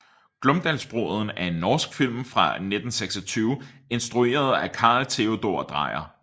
Glomdalsbruden er en norsk film fra 1926 instrueret af Carl Theodor Dreyer